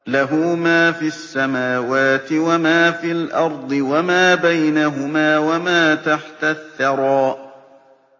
لَهُ مَا فِي السَّمَاوَاتِ وَمَا فِي الْأَرْضِ وَمَا بَيْنَهُمَا وَمَا تَحْتَ الثَّرَىٰ